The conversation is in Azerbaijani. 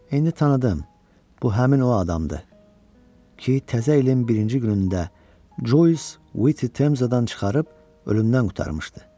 İndi tanıdım, bu həmin o adamdır ki, təzə elin birinci günündə Joysi Temzadan çıxarıb ölümdən qurtarmışdı.